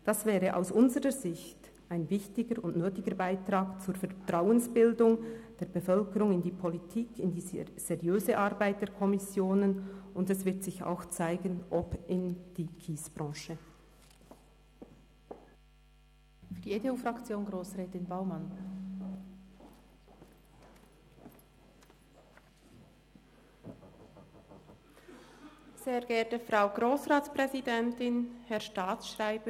Das wäre aus unserer Sicht ein wichtiger und nötiger Beitrag zur Vertrauensbildung der Bevölkerung in die Politik, in die seröse Arbeit der Kommissionen, und es wird sich auch zeigen ob auch in die Kiesbranche.